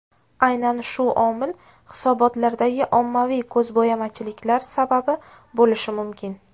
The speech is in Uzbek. Aynan shu omil hisobotlardagi ommaviy ko‘zbo‘yamachiliklar sababi bo‘lishi mumkin.